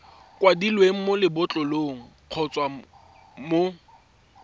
kwadilweng mo lebotlolong kgotsa mo